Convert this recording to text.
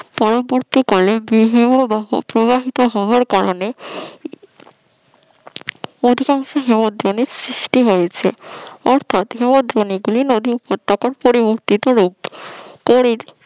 পরবর্তীকালে হিমবাহ প্রবাহিত হওয়ার কারণে অধিকাংশ হিমদ্রোণী সৃষ্টি হয়েছে অর্থাৎ হিমদ্রোণী গুলি, নদী উপত্যকার পরবর্তীতে পরেই